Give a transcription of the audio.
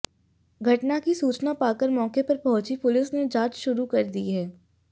घटना की सूचना पाकर मौके पर पहुंची पुलिस ने जांच शुरू कर दी है